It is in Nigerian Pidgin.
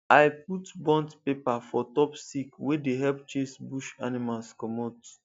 to put burnt paper for top stick dey help chase bush animals comot